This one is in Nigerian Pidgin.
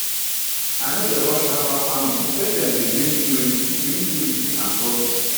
i no dey rush herbal farmingpatience dey bring purity bring purity and profit